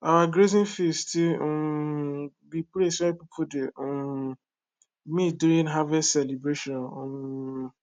our grazing field still um be place wey people dey um meet during harvest celebration um